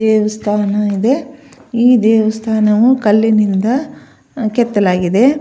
ದೇವಸ್ಥಾನ ಇದೆ ಈ ದೇವಸ್ಥಾನವು ಕಲ್ಲಿನಿಂದ ಕೆತ್ತಲಾಗಿದೆ.